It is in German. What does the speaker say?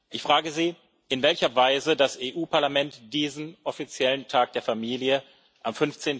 Ich frage Sie, in welcher Weise das Europäische Parlament diesen offiziellen Tag der Familie am